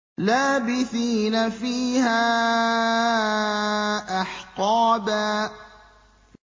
لَّابِثِينَ فِيهَا أَحْقَابًا